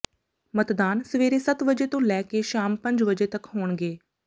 ਮਤਦਾਨ ਸਵੇਰੇ ਸੱਤ ਵਜੇ ਤੋਂ ਲੈ ਕੇ ਸ਼ਾਮ ਪੰਜ ਵਜੇ ਤੱਕ ਹੋਣਗੇ